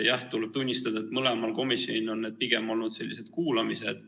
Jah, tuleb tunnistada, et mõlemal komisjonil on pigem olnud sellised kuulamised.